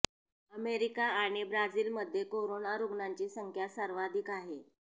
America आणि ब्राझीलमध्ये corona रुग्णांची संख्या सर्वाधिक आहे